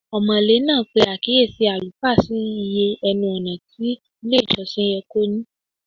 Ọmọ̀lé náà pe àkíyèsí àlùfáà sí iye ẹnu-ọ̀nà tí ilé-ìjọsìn yẹ kó ní.